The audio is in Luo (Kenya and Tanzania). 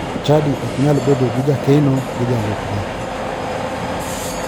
Chadi ok nyal bedo gi jakeno gi jalupne.